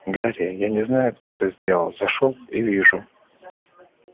гарри я не знаю кто это сделал зашёл и вижу